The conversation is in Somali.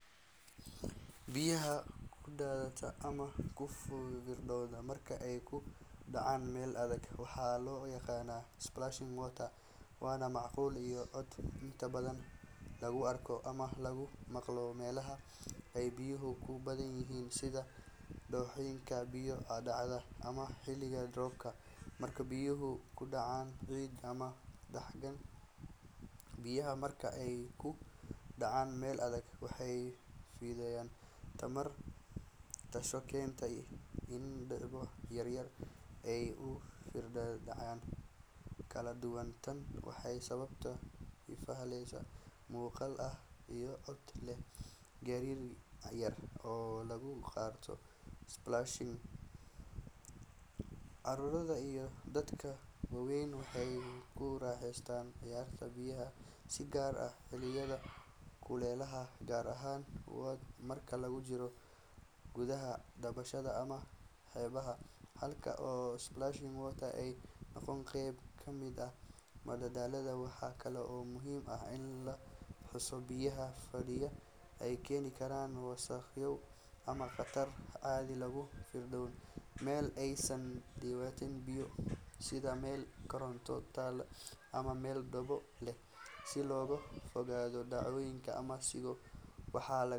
Biyaha ku daadata ama ku firdha marka ay ku dhacaan meel adag waxaa loo yaqaanaa splashing water, waana muuqaal iyo cod inta badan lagu arko ama lagu maqlo meelaha ay biyuhu ku badan yihiin sida dooxooyinka, biyo-dhacyada, ama xilliga roobka marka biyuhu ku dhacaan ciid ama dhagxaan. Biyaha marka ay ku dhacaan meel adag waxay fidiyaan tamar, taasoo keenta in dhibco yaryar ay u firdhaan dhinacyo kala duwan. Tani waxay sababtaa ifafaale muuqaal ah iyo cod leh gariir yar oo lagu garto splashing. Carruurta iyo dadka waaweynba waxay ku raaxaystaan ciyaarta biyaha si gaar ah xilliyada kulaylaha, gaar ahaan marka lagu jiro barkadaha dabaasha ama xeebaha, halkaas oo splashing water ay noqoto qayb ka mid ah madadaalada. Waxa kale oo muhiim ah in la xuso in biyaha firdhaya ay keeni karaan wasakhow ama khatar haddii lagu firdhiyo meel aysan u diyaarsanayn biyo, sida meel koronto taal ama meel dhoobo leh. Si looga fogaado dhaawacyo ama siigo, waxaa.